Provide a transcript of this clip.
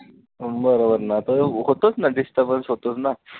बरोबर ना तर होतोच ना disturbance होतोच ना